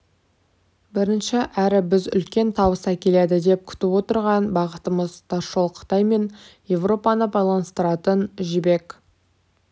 бірінші әрі біз үлкен табыс әкеледі деп күтіп отырған бағытымыз тасжол қытай мен еуропаны байланыстыратын жібек